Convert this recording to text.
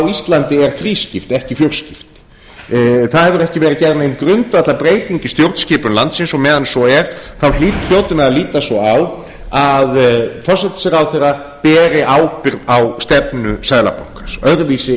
íslandi er þrískipt ekki fjórskipt það hefur ekki verið gerð nein grundvallarbreyting í stjórnskipun landsins og meðan svo er hljótum við að líta svo á að forsætisráðherra beri ábyrgð á stefnu seðlabankans öðruvísi